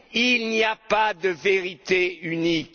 Il n'y a pas de vérité unique.